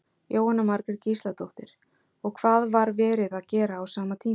Jóhanna Margrét Gísladóttir: Og hvað var verið að gera á sama tíma?